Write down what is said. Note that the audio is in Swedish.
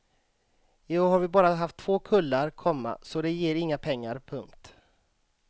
I år har vi bara haft två kullar, komma så det ger inga pengar. punkt